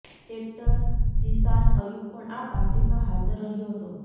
actor Zeeshan Ayub પણ આ પાર્ટીમાં હાજર રહ્યો હતો